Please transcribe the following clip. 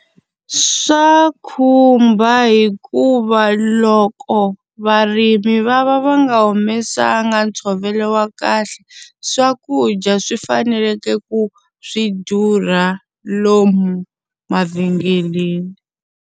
Swa khumba hikuva loko varimi va va va nga humesanga ntshovelo wa kahle, swakudya swi faneleke ku swi durha lomu mavhengeleni.